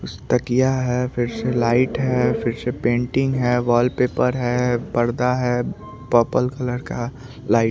उस तकिया है फिरस लाइट है फिर से पेंटिंग है वॉलपेपर है पर्दा है पपल कलर का लाइट --